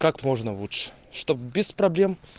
как можно лучше чтоб без проблем